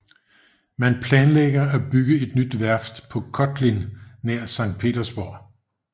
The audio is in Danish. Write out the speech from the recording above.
Man planlægger at bygge et nyt værft på Kotlin nær Sankt Petersborg